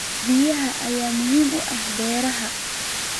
Biyaha ayaa muhiim u ah beeraha.